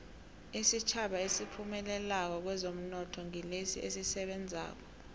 isitjhaba esiphumelelako kwezomnotho ngilesi esisebenzako